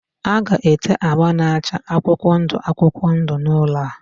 A ga-ete agba na-acha akwụkwọ ndụ akwụkwọ ndụ n'ụlọ a.